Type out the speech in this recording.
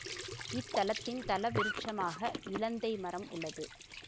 இத்தலத்தின் தலவிருட்சமாக இலந்தை மரம் உள்ளது